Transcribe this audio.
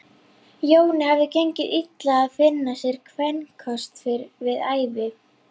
Jóni hafði gengið illa að finna sér kvenkost við hæfi.